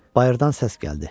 Bayırdan səs gəldi.